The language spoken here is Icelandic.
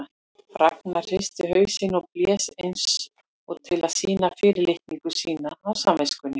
Ragnar hristi hausinn og blés eins og til að sýna fyrirlitningu sína á samviskunni.